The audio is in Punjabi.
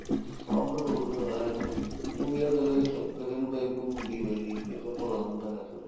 ਸਭ ਦਾ ਰੋਜਗਾਰ ਏ ਚਲੋ ਉਹੀ ਏ ਕਿਸੇ ਨੂੰ ਚੱਲ ਕਿਸੇ ਨੂੰ ਤਾਂ income ਹੁੰਦੀ ਓ ਏ ਇਹਦੀ ਕਿਸੇ ਦਾ ਭਲਾ ਹੁੰਦਾ ਚਲੋ